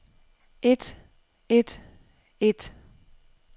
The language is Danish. et et et